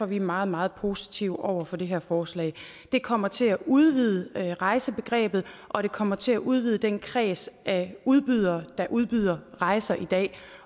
vi er meget meget positive over for det her forslag det kommer til at udvide rejsebegrebet og det kommer til at udvide den kreds af udbydere der udbyder rejser i dag